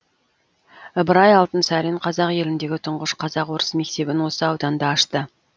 ыбырай алтынсарин қазақ еліндегі тұңғыш қазақ орыс мектебін осы ауданда ашты